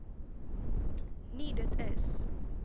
nie dit is